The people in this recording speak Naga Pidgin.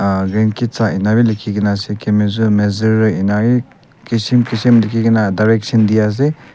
ah Ngand ketsa inika bi likhigena ase kemuzu mezurii inawi kisim kisim likhigena direction di ase.